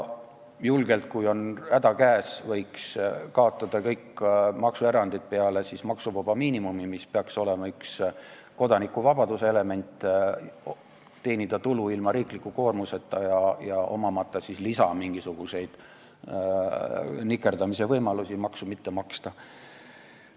Julgelt, kui on häda käes, võiks kaotada kõik maksuerandid peale maksuvaba miinimumi, mis peaks olema üks kodanikuvabaduse elemente: teenida tulu ilma riikliku koormiseta ja omamata mingisuguseid nikerdamise lisavõimalusi maksu mitte maksta.